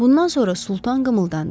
Bundan sonra Sultan qımıldandı.